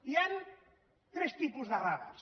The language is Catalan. hi han tres tipus de radars